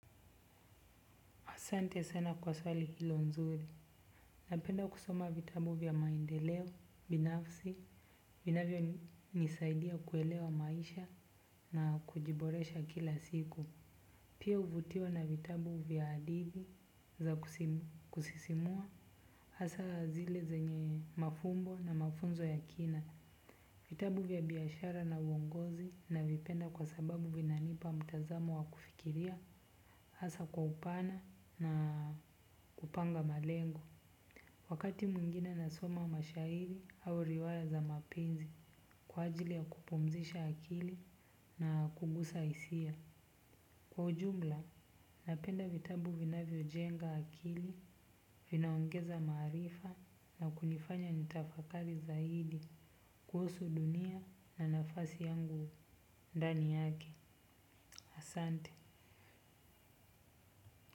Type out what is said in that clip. Asante sana kwa swali hilo nzuri. Napenda kusoma vitabu vya maendeleo, binafsi, vinavyo nisaidia kuelewa maisha na kujiboresha kila siku. Pia uvutiwa na vitabu vya adithi za kusisimua. Asaa zile zenye mafumbo na mafunzo ya kina. Vitabu vya biashara na uongozi navipenda kwa sababu vinanipa mtazamo wa kufikiria. Asa kwa upana na kupanga malengo. Wakati mwingine nasoma mashahiri au riwaya za mapenzi. Kwa ajili ya kupumzisha akili na kugusa isia kwa ujumla, napenda vitabu vinavyo jenga akili. Vinaongeza maarifa na kunifanya nitafakari zaidi kuhusu dunia na nafasi yangu ndani yake asante.